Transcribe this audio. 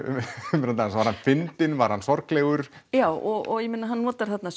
um þennan dans var hann fyndinn var hann sorglegur já og ég meina hann notar þarna